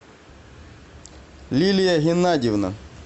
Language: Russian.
лилия геннадьевна